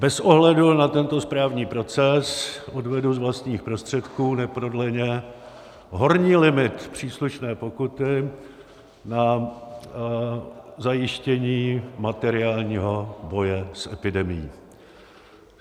Bez ohledu na tento správní proces odvedu z vlastních prostředků neprodleně horní limit příslušné pokuty na zajištění materiálního boje s epidemií.